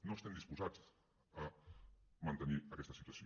no estem disposats a mantenir aquesta situació